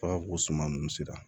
suma ninnu sera